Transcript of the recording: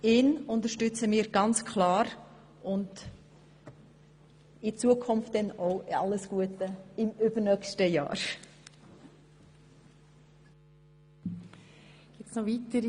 Auch ihn unterstützen wir ganz klar und wünschen ihm für die Zukunft, auch bereits fürs übernächste Jahr, alles Gute.